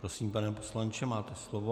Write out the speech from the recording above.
Prosím, pane poslanče, máte slovo.